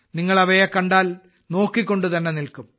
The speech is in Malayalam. നിങ്ങൾ അവയെ കണ്ടാൽ നോക്കിക്കൊണ്ടുതന്നെ നിൽക്കും